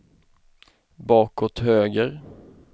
bakåt höger